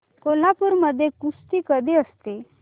कोल्हापूर मध्ये कुस्ती कधी असते